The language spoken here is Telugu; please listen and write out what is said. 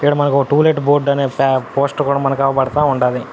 ఇక్కడ మనకి ఒక టూ లెట్ బోర్డు అనేది స-పోస్టర్ కూడా మనకి అగుపడతా ఉండాది.